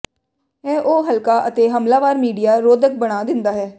ਇਹ ਉਹ ਹਲਕਾ ਅਤੇ ਹਮਲਾਵਰ ਮੀਡੀਆ ਰੋਧਕ ਬਣਾ ਦਿੰਦਾ ਹੈ